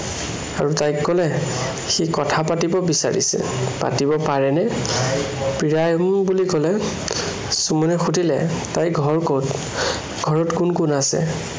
আৰু তাইক কলে, সি কথা পাতিব বিচাৰিছে। পাতিব পাৰেনে? প্ৰিয়াই উম বুলি কলে। সুমনে সুধিলে তাইৰ ঘৰ কত? ঘৰত কোন কোন আছে?